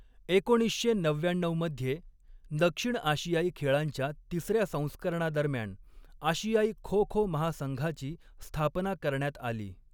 एकोणीसशे नव्व्याण्णव मध्ये, दक्षिण आशियाई खेळांच्या तिसर्या संस्करणादरम्यान आशियाई खो खो महासंघाची स्थापना करण्यात आली.